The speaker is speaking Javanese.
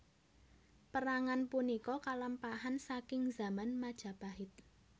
Pérangan punika kalampahan saking zaman Majapahit